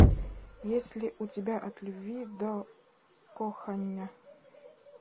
есть ли у тебя от любви до кохання